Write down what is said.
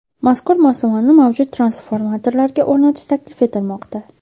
Mazkur moslamani mavjud transformatorlarga o‘rnatish taklif etilmoqda.